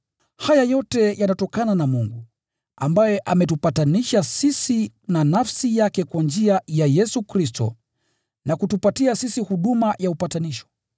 Haya yote yanatokana na Mungu, ambaye ametupatanisha sisi na nafsi yake kwa njia ya Yesu Kristo na kutupata sisi huduma ya upatanisho: